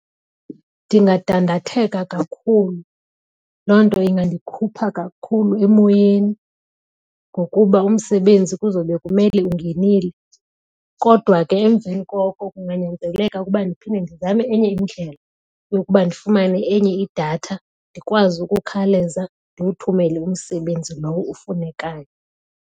Ndingadandatheka kakhulu. Loo nto ingandikhupha kakhulu emoyeni ngokuba umsebenzi kuzawube kumele ungenile. Kodwa ke emveni koko kunganyanzeleka ukuba ndiphinde ndizame enye indlela yokuba ndifumane enye idatha ndikwazi ukukhawuleza ndiwuthumele umsebenzi lowo ufunekayo.